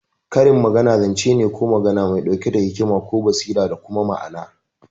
Karin magana zance ne ko magana mai ɗauke da hikima ko basira da kuma ma'ana.